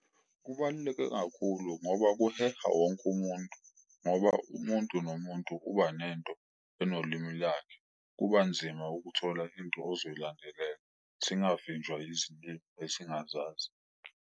Kubaluleke kakhulu ngoba kuheha wonke umuntu ngoba umuntu nomuntu uba nento enolimi lakhe, kuba nzima ukuthola into ozoyilandelela, singavinjwa izilimi esingazazi.